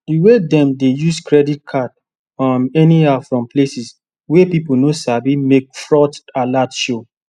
the way them dey use credit card um anyhow fron places wey people no sabi make fraud alert show